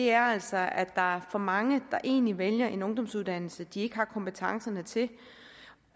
er altså at der er for mange der egentlig vælger en ungdomsuddannelse de ikke har kompetencerne til